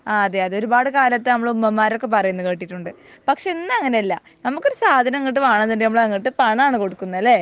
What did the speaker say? ആഹ് അതെ അത് ഒരുപാട് കാലത്തെ നമ്മുടെ ഉമ്മമാർ ഒക്കെ പറയുന്നത് കേട്ടിട്ടുണ്ട്. പക്ഷെ ഇന്ന് അങ്ങിനെ അല്ല നമുക്കൊരു സാധനം ഇങ്ങട്ട് വേണോന്നുണ്ടെങ്കിൽ നമ്മൾ അങ്ങട്ട് പണം ആണ് കൊടുക്കുന്നെ അല്ലെ